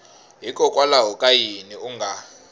hikokwalaho ka yini u nga